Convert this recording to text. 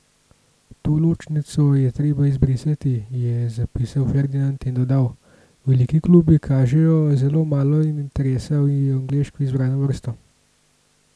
To ločnico je treba izbrisati," je zapisal Ferdinand in dodal: "Veliki klubi kažejo zelo malo interesa v angleško izbrano vrsto.